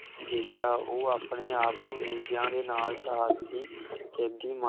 ਵੀ ਦੇਖਿਆ ਉਹ ਆਪਣੇ ਆਪ ਨੂੰ ਦੂਜਿਆਂ ਦੇ ਨਾਲ ਸਾਹਸੀ ਕੈਦੀ ਮਾ